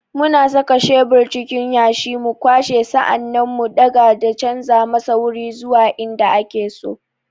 Muna saka shebur cikin yashi, mu kwashe, sa'an nan mu daga da canja masa wuri zuwa in da ake so.